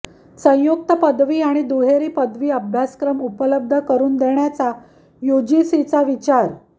संयुक्त पदवी आणि दुहेरी पदवी अभ्यासक्रम उपलब्ध करून देण्याचा यूजीसीचा विचार